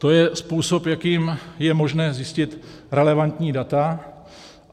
To je způsob, jakým je možné zjistit relevantní data.